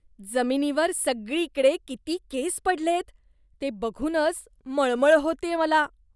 जमिनीवर सगळीकडे किती केस पडलेत. ते बघूनच मळमळ होतेय मला.